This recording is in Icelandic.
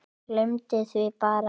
Gleymdi því bara.